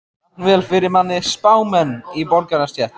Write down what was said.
Jafnvel fyrir minni spámenn í borgarastétt.